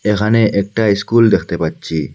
এখানে একটা স্কুল দেখতে পাচ্ছি।